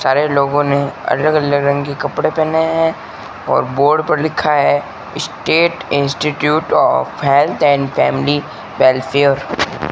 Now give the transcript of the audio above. सारे लोगों ने अलग अलग रंग के कपड़े पहने हैं और बोर्ड पर लिखा है state institute of health and family welfare --